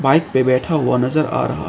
bike पे बैठा हुआ नजर आ रहा--